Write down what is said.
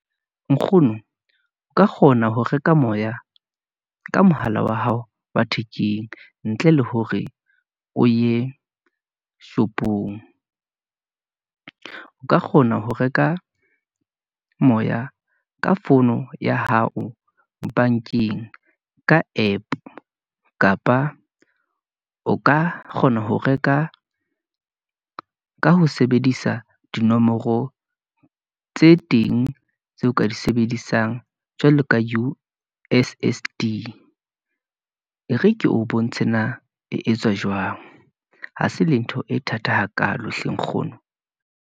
Nkgono o ka kgona ho reka moya, ka mohala wa hao wa thekeng, ntle le hore o ye shop-ong , o ka kgona ho reka moya ka fono ya hao bank-eng, ka app kapa o ka kgona ho reka ka ho sebedisa dinomoro tse teng, tseo ka di sebedisang jwalo ka U_S_S_D , re ke o bontshe na e etswa jwang, ha se le ntho e thata hakalo hle nkgono.